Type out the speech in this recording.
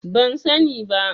Ban sani ba.